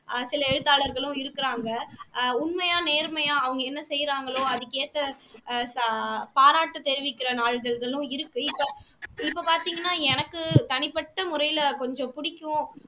சில எழுத்தாளர்களும் இருக்குறாங்க அஹ் உண்மையா நேர்மையா அவங்க என்ன செய்றாங்களோ அதுக்கு ஏத்த ஆஹ் பாராட்டு தெரிவிக்குற நாளிதழ்களும் இருக்கு இப்போ இப்போ பார்த்தீங்கன்னா எனக்கு தனிப்பட்ட முறையில கொஞ்சம் பிடிக்கும்